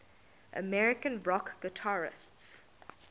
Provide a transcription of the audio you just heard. american rock guitarists